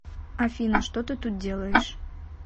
афина что ты тут делаешь